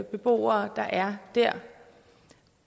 beboere der er der